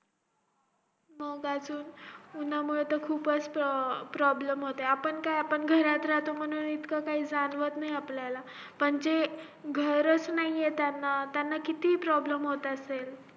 मग त्या तुन उंन्हा मुळे खूपच अं problem होतो आपण काय आपण घरात राहतो म्हणून इतकं काही जाणवत नाही आपल्याला पण जे घराचं नाही त्यांना किती problem होत असेल